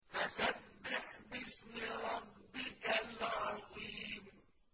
فَسَبِّحْ بِاسْمِ رَبِّكَ الْعَظِيمِ